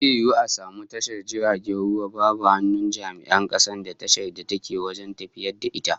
Zai yiwu a samu tashar jirgin ruwa babu hannun jami'an kasar da tashar take wajen tafiyar da ita?